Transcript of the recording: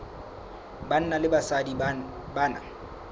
banna le basadi ba na